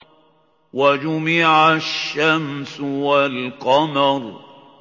وَجُمِعَ الشَّمْسُ وَالْقَمَرُ